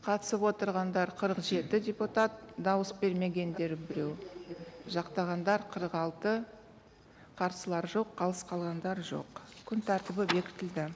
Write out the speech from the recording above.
қатысып отырғандар қырық жеті депутат дауыс бермегендер біреу жақтағандар қырық алты қарсылар жоқ қалыс қалғандар жоқ күн тәртібі бекітілді